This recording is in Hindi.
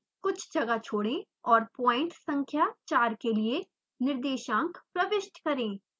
कुछ जगह छोड़ें और पॉइंट संख्या 4 के लिए निर्देशांक प्रविष्ट करें